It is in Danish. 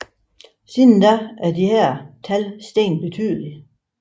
Siden da er disse tal steget betydeligt